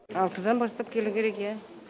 алтыдан бастап келу керек иә